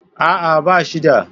A'a, ba shi da.